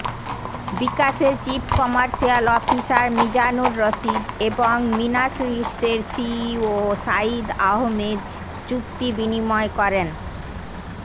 বিকাশের chief commercial officer Mizanur Rashid এবং মীনা সুইটসের সিইও সাঈদ আহমেদ চুক্তি বিনিময় করেন